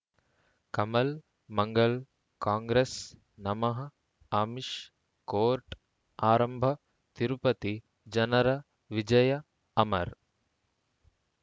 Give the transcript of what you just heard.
ಕಮಲ್ ಮಂಗಳ್ ಕಾಂಗ್ರೆಸ್ ನಮಃ ಅಮಿಷ್ ಕೋರ್ಟ್ ಆರಂಭ ತಿರುಪತಿ ಜನರ ವಿಜಯ ಅಮರ್